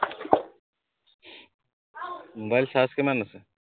mobile charge কিমান আছে